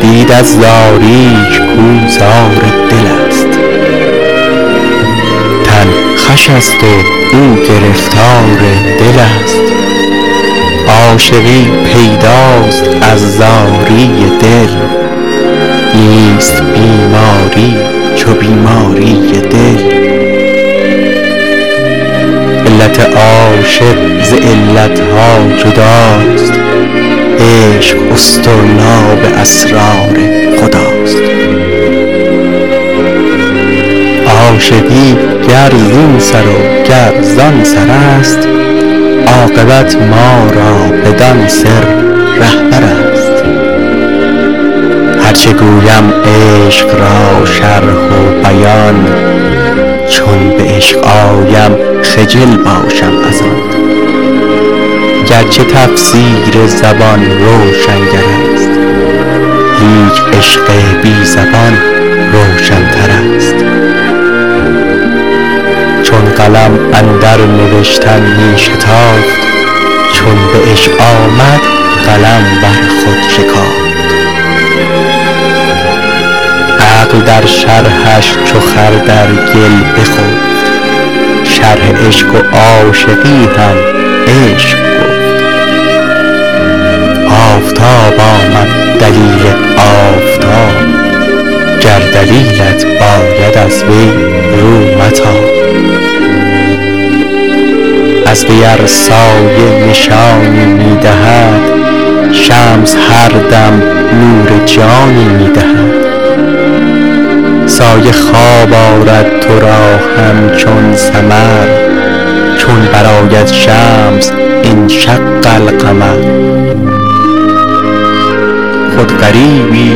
دید از زاریش کاو زار دلست تن خوشست و او گرفتار دلست عاشقی پیداست از زاری دل نیست بیماری چو بیماری دل علت عاشق ز علت ها جداست عشق اصطرلاب اسرار خداست عاشقی گر زین سر و گر زان سرست عاقبت ما را بدان سر رهبرست هرچه گویم عشق را شرح و بیان چون به عشق آیم خجل باشم از آن گرچه تفسیر زبان روشنگرست لیک عشق بی زبان روشنترست چون قلم اندر نوشتن می شتافت چون به عشق آمد قلم بر خود شکافت عقل در شرحش چو خر در گل بخفت شرح عشق و عاشقی هم عشق گفت آفتاب آمد دلیل آفتاب گر دلیلت باید از وی رو متاب از وی ار سایه نشانی می دهد شمس هر دم نور جانی می دهد سایه خواب آرد تو را همچون سمر چون برآید شمس انشق القمر خود غریبی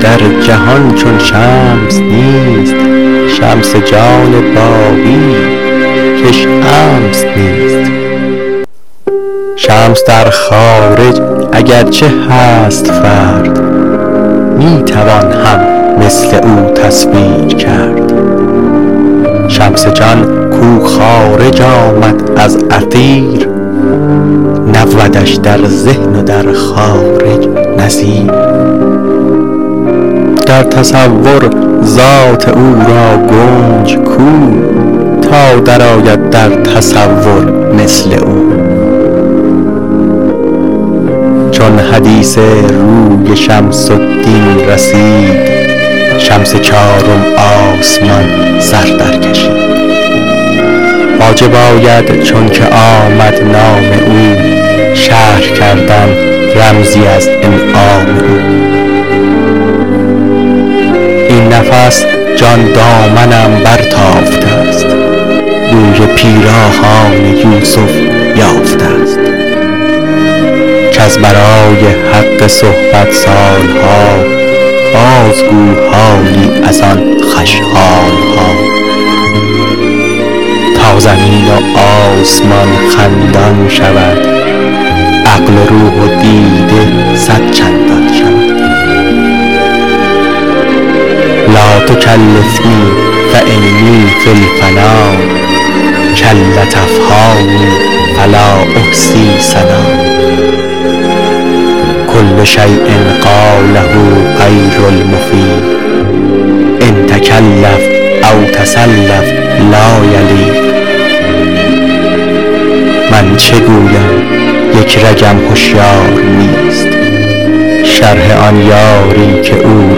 در جهان چون شمس نیست شمس جان باقیی کش امس نیست شمس در خارج اگر چه هست فرد می توان هم مثل او تصویر کرد شمس جان کو خارج آمد از اثیر نبودش در ذهن و در خارج نظیر در تصور ذات او را گنج کو تا درآید در تصور مثل او چون حدیث روی شمس الدین رسید شمس چارم آسمان سر در کشید واجب آید چونکه آمد نام او شرح کردن رمزی از انعام او این نفس جان دامنم برتافته ست بوی پیراهان یوسف یافته ست کز برای حق صحبت سال ها بازگو حالی از آن خوش حال ها تا زمین و آسمان خندان شود عقل و روح و دیده صدچندان شود لاتکلفنی فانی فی الفنا کلت افهامی فلا احصی ثنا کل شیء قاله غیر المفیق أن تکلف او تصلف لا یلیق من چه گویم یک رگم هشیار نیست شرح آن یاری که او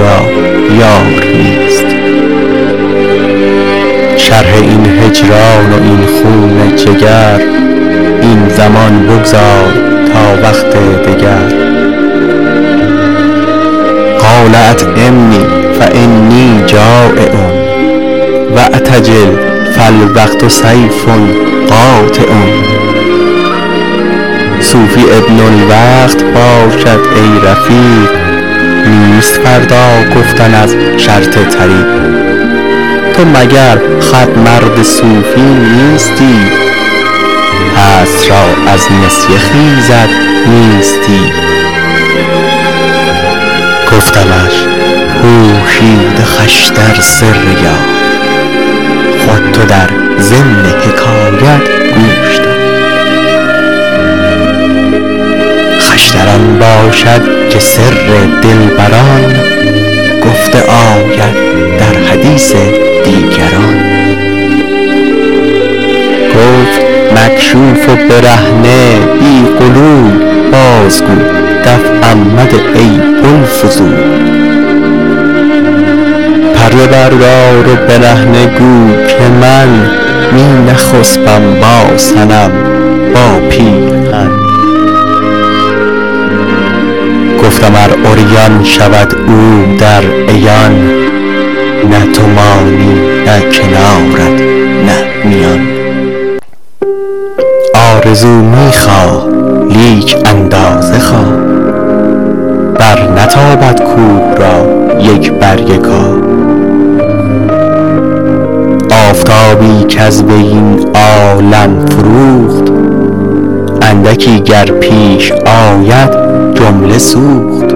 را یار نیست شرح این هجران و این خون جگر این زمان بگذار تا وقت دگر قال اطعمنی فانی جٰایع واعتجل فالوقت سیف قاطع صوفی ابن الوقت باشد ای رفیق نیست فردا گفتن از شرط طریق تو مگر خود مرد صوفی نیستی هست را از نسیه خیزد نیستی گفتمش پوشیده خوش تر سر یار خود تو در ضمن حکایت گوش دار خوش تر آن باشد که سر دلبران گفته آید در حدیث دیگران گفت مکشوف و برهنه بی غلول بازگو دفعم مده ای بوالفضول پرده بردار و برهنه گو که من می نخسپم با صنم با پیرهن گفتم ار عریان شود او در عیان نه تو مانی نه کنارت نه میان آرزو می خواه لیک اندازه خواه برنتابد کوه را یک برگ کاه آفتابی کز وی این عالم فروخت اندکی گر پیش آید جمله سوخت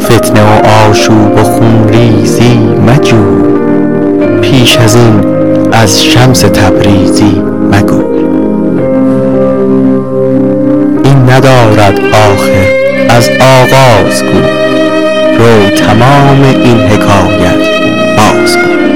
فتنه و آشوب و خون ریزی مجوی بیش ازین از شمس تبریزی مگوی این ندارد آخر از آغاز گوی رو تمام این حکایت بازگوی